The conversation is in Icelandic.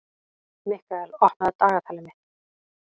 Mikkael, opnaðu dagatalið mitt.